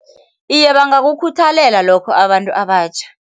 Iye, bangakukhuthalela lokho abantu abatjha.